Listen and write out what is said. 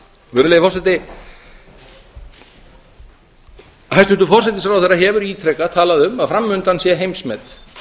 virðulegi forseti hæstvirtur forsætisráðherra hefur ítrekað talað um að fram undan sé heimsmet